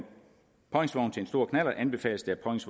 stor knallert anbefales det